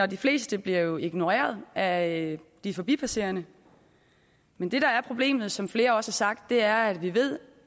de fleste bliver ignoreret af de forbipasserende men det der er problemet som flere også har sagt er at vi ved